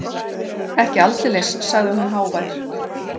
Ekki aldeilis, sagði hún hávær.